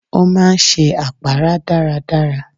Ó máa ń ṣe àpárá dáadáa